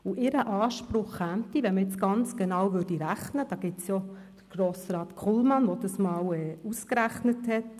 Ihr Anspruch käme, wenn man jetzt ganz genau rechnen würde, klar vor der FDP, wenn man dies so betrachten wollte.